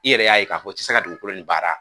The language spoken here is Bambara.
I yɛrɛ y'a ye ka fɔ i ti se ka dugukolo nin baara.